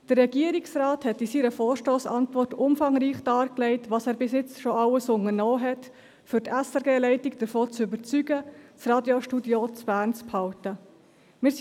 Der Regierungsrat hat in seiner Vorstossantwort umfangreich dargelegt, was er bis jetzt schon alles unternommen hat, um die SRG-Leitung davon zu überzeugen, das Radiostudio in Bern zu belassen.